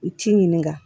U ci ɲini kan